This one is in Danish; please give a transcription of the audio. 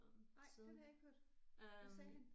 Nej den har jeg ikke hørt. Hvad sagde han?